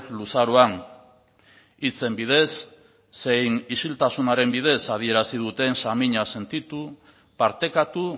luzaroan hitzen bidez zein isiltasunaren bidez adierazi duten samina sentitu partekatu